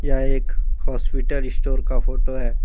यह एक hospital store का फोटो है।